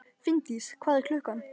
Finndís, hvað er klukkan?